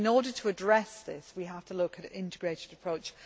In order to address this, we have to look at an integrated approach